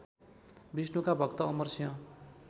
विष्णुका भक्त अमरसिंह